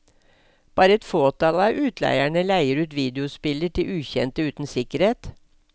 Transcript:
Bare et fåtall av utleierne leier ut videospiller til ukjente uten sikkerhet.